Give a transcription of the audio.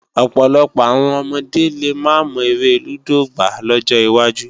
Ọ̀pọ̀lọpọ̀ àwọn ọmọdé lè máa mọ eré lúdò gbá lọ́jọ wájú